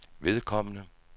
vedkommende